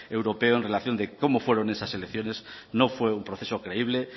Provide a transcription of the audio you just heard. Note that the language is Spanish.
europeo en relación de cómo fueron esas elecciones no fue un proceso creíble